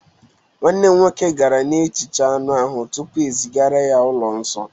nwanne m nwoke gara na-ehicha anụ ahụ tupu ezigara ya ụlọ nsọ